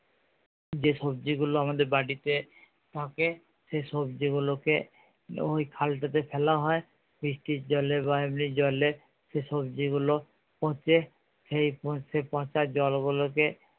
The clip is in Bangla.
যে সবজি গুলো আমাদের বাড়িতে থাকে সে সবজি গুলোকে ওই খালটাতে ফেলা হয় বৃষ্টির জলে বা এমনি জলে সে সবজি গুলো পচে সেই পচে পচা জল গুলোকে